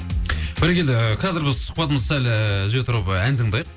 бәрекелді қазір біз сұхбатымызды сәл ііі үзе тұрып і ән тыңдайық